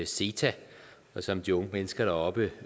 ceta og som de unge mennesker deroppe